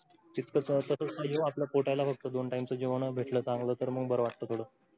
हित तर आपल पोटायला बगतो दोन time च जीवन भेटल चांगल तर मग बर वाटत थोड